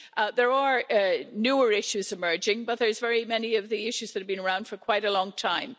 There are newer issues emerging, but there are very many issues that have been around for quite a long time.